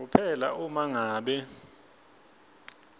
kuphela uma ngabe